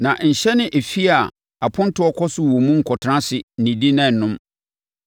“Na nhyɛne efie a apontoɔ kɔ so wɔ mu nkɔtena ase, nnidi na nnom.